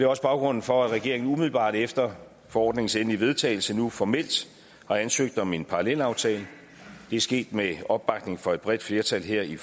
også baggrunden for at regeringen umiddelbart efter forordningens endelige vedtagelse nu formelt har ansøgt om en parallelaftale det er sket med opbakning fra et bredt flertal her i